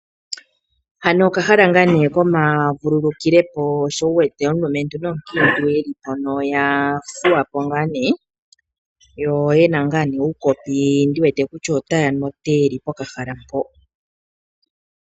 Hano okahala ngaa ne komavululukilepo sho wuwete omulumentu nomukiintu yeli mpano taya fudhapo yo yena uukopi taya nu otee.